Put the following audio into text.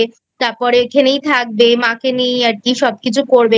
তারপরে এখানেই থাকবে মাকে নিয়েই আর কী সব কিছু করবে।